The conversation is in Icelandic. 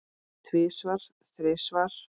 Tvisvar, þrisvar?